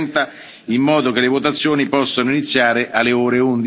8.30, in modo che le votazioni possono iniziare alle ore